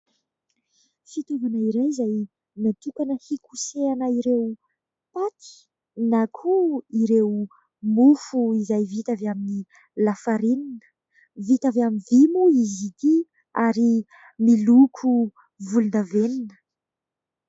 Fitaovana iray izay natokana hikosehana ireo paty na koa ireo mofo izay vita avy amin'ny lafarinina. Vita avy amin'ny vy moa izy ity ary miloko volondavenona.